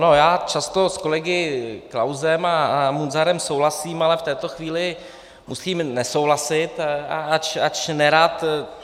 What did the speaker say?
No, já často s kolegy Klausem a Munzarem souhlasím, ale v této chvíli musím nesouhlasit, ač nerad.